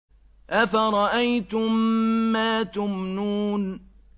أَفَرَأَيْتُم مَّا تُمْنُونَ